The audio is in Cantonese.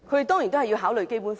當然是要考慮《基本法》。